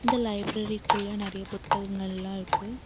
இந்த லைப்ரரி குள்ள நெறைய புத்தகங்கள்லா இருக்கு.